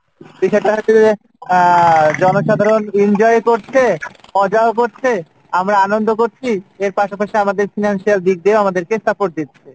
বিষয়টা হচ্ছে যে আহ জনসাধারণ enjoy করছে মজাও করছে আমরা আনন্দ করছি এর পাশাপাশি আমাদের financial দিক দিয়েও আমাদেরকে support দিচ্ছে,